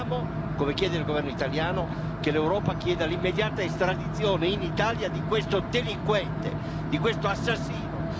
Noi chiediamo, insieme al governo italiano, che l'Europa chieda l'immediata estradizione in Italia di questo delinquente, di questo assassino.